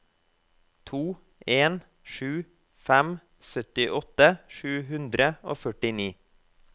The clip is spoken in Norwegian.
to en sju fem syttiåtte sju hundre og førtini